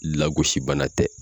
Lagosi bana tɛ